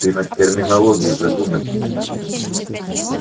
ты над терминологией задумайся